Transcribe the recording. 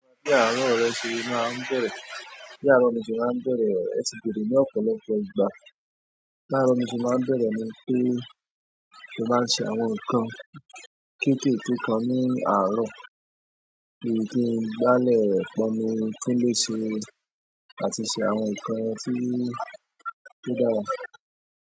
Bi ààro re se máa ń bẹ̀rẹ̀, bi aro mi se máa ń bẹ̀rẹ̀, è tì beere ní ọ̀pọ̀lọpọ̀ ìgbà. Bi ààro mi se máa ń béèrè mi pé, mo máa ṣe àwọn nǹkan kéékèèké kan ní àárọ̀, bí i kí n gbálẹ̀ pọ́nmi túnléṣe àti ṣe àwọn nǹkan tí o dàra.